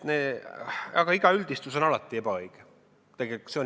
Aga iga üldistus on alati ebaõige.